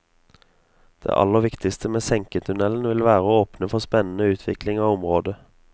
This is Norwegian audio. Det aller viktigste med senketunnelen vil være å åpne for spennende utvikling av området.